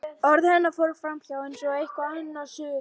Orð hennar fóru framhjá honum eins og hvert annað suð.